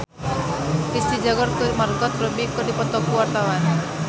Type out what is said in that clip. Risty Tagor jeung Margot Robbie keur dipoto ku wartawan